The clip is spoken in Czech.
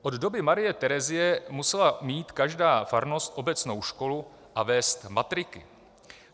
Od doby Marie Terezie musela mít každá farnost obecnou školu a vést matriku.